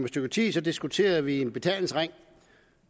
stykke tid diskuterede vi en betalingsring